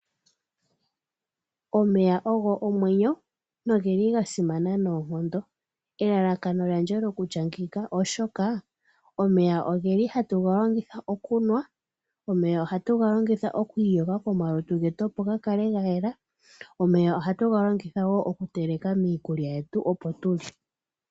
Omeya ogo omwenyo ,nogeli ga simana noonkondo. Elalakano lyandje lokutya ngika oshoka omeya oge li hatu galongitha okunwa, omeya oha tuga galongitha oku iyoga komalutu getu opo ga kale ga yela, omeya oha tuga longitha woo okuteleka miikulya yetu opo tulye.